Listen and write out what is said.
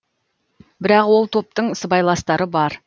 бірақ ол топтың сыбайластары бар